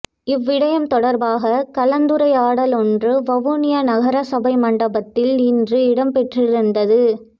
இவ்விடயம் தொடர்பாக கலந்துரையாடலொன்று வவுனியா நகரசபை மண்டபத்தில் இன்று இடம்பெற்றிருந்தது